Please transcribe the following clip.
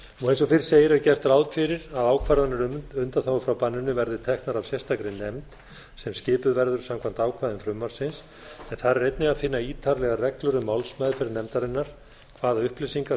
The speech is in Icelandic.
eins og fyrr segir er gert ráð fyrir að ákvarðanir um undanþágur frá banninu verði teknar af sérstakri nefnd sem skipuð verður samkvæmt ákvæðum frumvarpsins en þar er einnig að finna ítarlegar reglur um málsmeðferð nefndarinnar hvaða upplýsingar